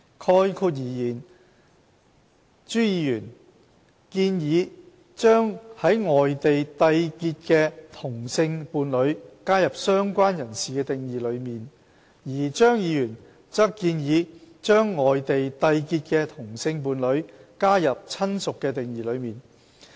概括而言，朱議員建議把在外地締結的同性伴侶加入"相關人士"的定義當中，而張議員則建議把在外地締結的同性伴侶加入"親屬"的定義當中。